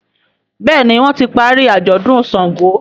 Béèni wón tí parí ajọdun ṣàngó.